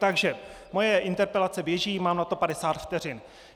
Takže moje interpelace běží, mám na to 50 vteřin.